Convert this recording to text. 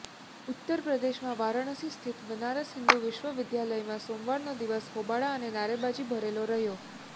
ઉત્તર પ્રદેશમાં વારાણસી સ્થિત બનારસ હિંદુ વિશ્વવિદ્યાલયમાં સોમવારનો દિવસ હોબાળા અને નારેબાજી ભરેલો રહ્યો